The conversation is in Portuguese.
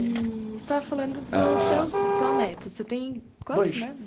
E você tava falando dos seus seu netos, você tem quantos, mesmo? Dois